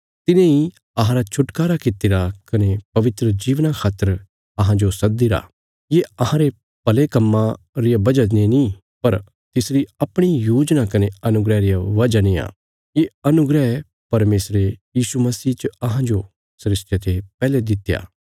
तिने इ अहांरा छुटकारा कित्तिरा कने पवित्र जीवना खातर अहांजो सद्दीरा ये अहांरे भले कम्मां रिया वजह ने नीं पर तिसरी अपणी योजना कने अनुग्रह रिया वजह नेआ ये अनुग्रह परमेशरे यीशु मसीह च अहांजो सृष्टिया ते पैहले दित्या